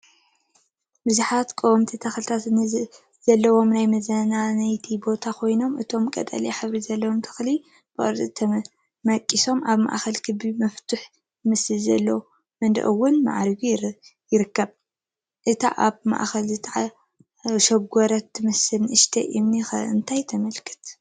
ብዙሓት ቀወምቲ ተኽልታት ዘለዎን ናይ መዝናነይ ቦታ ኮይኑ እቶም ቀጠልያ ሕብሪ ዘለዎም ኣትክልቲ ብቕርፂ ተመቂሶም፣ ኣብ ማእኸል ኽቢ መፍቱሕ ዝመስል ዘለዎ መንደቕ ውን ማዕሪጉ ይርከብ፡፡ እታ ኣብ ማእኸል ዝተሸጎረት ትመስል ንእሽተይ እምኒ ኸ እንታይ ተመልክት?